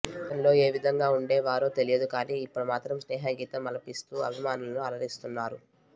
గతంలో ఏ విధంగా ఉండే వారో తెలియదు కానీ ఇప్పుడు మాత్రం స్నేహగీతం ఆలపిస్తూ అభిమానులను అలరిస్తున్నారు